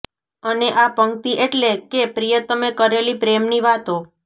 અને આ પંકિત એટલે કે પ્રિયતમે કરેલી પ્રેમની વાતો